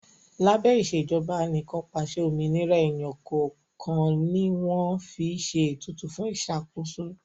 Lábẹ́ Ìṣèjọba Anìkànpàṣẹ, òmìnira èèyàn kọ̀ọ̀kan ni wọ́n fi ṣe ètùtù fún ìṣàkóso